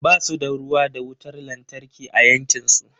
Ba su da ruwa da wutar lantarki a yankin su.